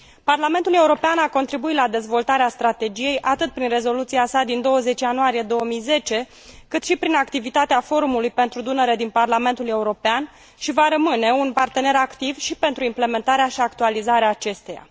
Parlamentul European a contribuit la dezvoltarea strategiei, atât prin rezoluția sa din 20 ianuarie 2010, cât și prin activitatea Forumului pentru Dunăre din Parlamentul European și va rămâne un partener activ și pentru implementarea și actualizarea acesteia.